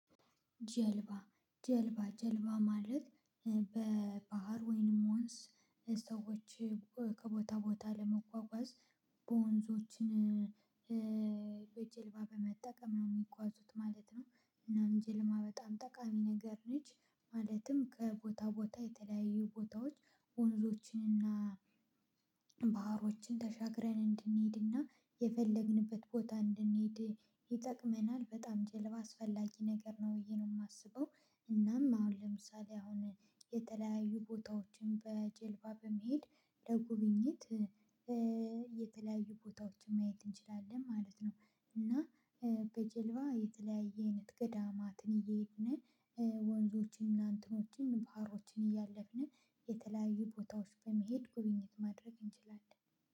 ጀልባ ጀልባ ጀልባ ማለት በባህር ወይንም ወንዝ ሰዎች ከቦታ ቦታ ለመጓጓዝ በወንዞችን በጀልባ በመጠቀም ነው የሚጓዙት ማለት ነው እናም ጅልማ በጣም ጠቃሚ ነገር ነች። ማለትም ከቦታ ቦታ የተለያዩ ቦታዎች ወንዞችንና ባህሮችን ተሻግረን እንድንሄድና የፈለግንበት ቦታ እንድንሄድ ይጠቅመናል በጣም ጀልባ አስፈላጊ ነገር ነው ብዬ ነው የማስበው። እናም አሁን ለምሳሌ አሁን የተለያዩ ቦታዎችን በጀልባ በመሄድ ለጉብኝት የተለያዩ ቦታዎችን ማየት እንችላለን ማለት ነው። እና በጀልባ የተለያየ አይነት ገዳማትን እየሄዱን ወንዞችን እናንተኖችን ባህሮችን እያለፍን የተለያዩ ቦታዎች በመሄድ ጉብኝት ማድረግ እንችላለን።